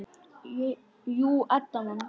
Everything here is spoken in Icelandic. Jú, Edda man.